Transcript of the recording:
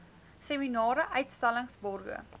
seminare uitstallings borge